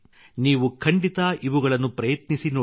ನೀವು ಖಂಡಿತ ಇವುಗಳನ್ನು ಪ್ರಯತ್ನಿಸಿ ನೋಡಿ